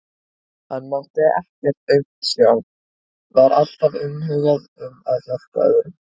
Hann mátti ekkert aumt sjá, var alltaf umhugað um að hjálpa öðrum.